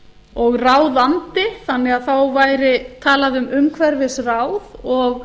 og ráðandi þannig að þá væri talað um umhverfisráð og